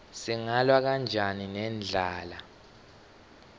singalwa kanjani nendlala